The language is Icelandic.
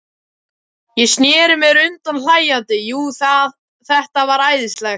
Ég sneri mér undan hlæjandi, jú, þetta var æðislegt.